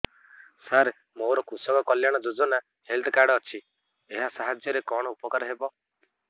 ସାର ମୋର କୃଷକ କଲ୍ୟାଣ ଯୋଜନା ହେଲ୍ଥ କାର୍ଡ ଅଛି ଏହା ସାହାଯ୍ୟ ରେ କଣ ଉପକାର ହବ